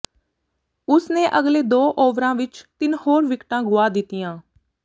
ਉਸ ਨੇ ਅਗਲੇ ਦੋ ਓਵਰਾਂ ਵਿਚ ਤਿੰਨ ਹੋਰ ਵਿਕਟਾਂ ਗੁਆ ਦਿੱਤੀਆਂ